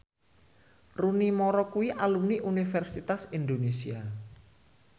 Rooney Mara kuwi alumni Universitas Indonesia